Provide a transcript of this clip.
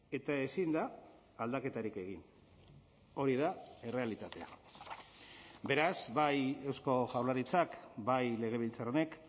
eta ezin da aldaketarik egin hori da errealitatea beraz bai eusko jaurlaritzak bai legebiltzar honek